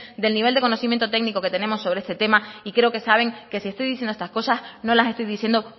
del nivel de conocimiento técnico que tenemos sobre este tema y creo que saben que si estoy diciendo estas cosas no las estoy diciendo